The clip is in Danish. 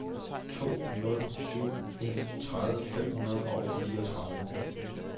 to nul syv en tredive fem hundrede og fireogtredive